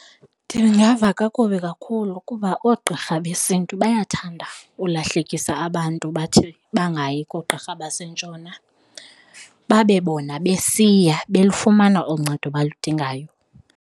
Ndingava kakubi kakhulu kuba oogqirha besiNtu bayathanda ukulahlekisa abantu bathi bangayi koogqirha basentshona babe bona besiya belufumana olu ncedo abaludinga ngayo.